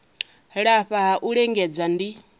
lafha ha u lingedza ndi